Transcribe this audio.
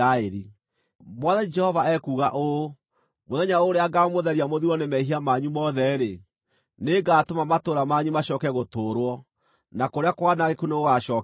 “ ‘Mwathani Jehova ekuuga ũũ: Mũthenya ũrĩa ngaamũtheria mũthirwo nĩ mehia manyu mothe-rĩ, nĩngatũma matũũra manyu macooke gũtũũrwo, na kũrĩa kwanangĩku nĩgũgacookererio.